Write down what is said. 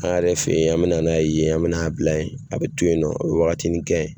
An yɛrɛ fɛ yen an mina n'a yen an mina a bila ye a bɛ to yen nɔ a bɛ wagatinin kɛ.